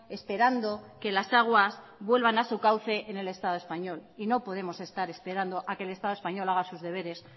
esperando que las aguas vuelvan a su cauce en el estado español y no podemos estar esperando a que el estado español haga sus deberes